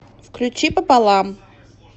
включи пополам